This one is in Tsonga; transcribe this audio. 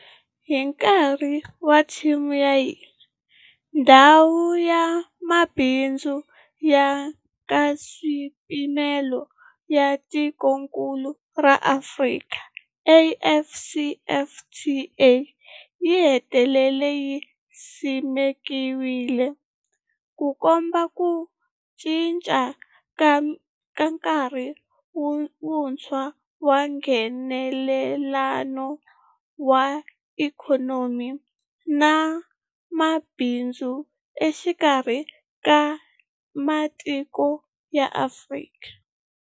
Hi nkarhi wa theme ya hina, Ndhawu ya Mabindzu ya Nkaswipimelo ya Tikokulu ra Afrika, AfCFTA yi hetelele yi simekiwile, Ku komba ku cinca ka nkarhi wuntshwa wa Nghenelelano wa ikhonomi na mabindzu exikarhi ka matiko ya Afrika.